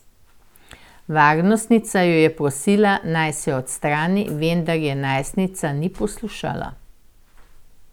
Varnostnica jo je prosila, naj se odstrani, vendar je najstnica ni poslušala.